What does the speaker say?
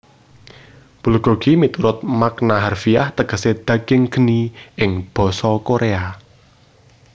Bulgogi miturut makna harfiah tegesé daging geni ing basa Koréa